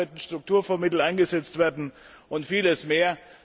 Auch dafür könnten Strukturfondsmittel eingesetzt werden, und vieles mehr.